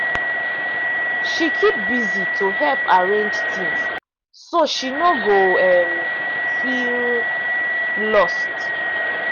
she keep busy to help arrange things so she no go um feel lost.